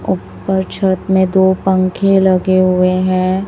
ऊपर छत में दो पंखे लगे हुए है।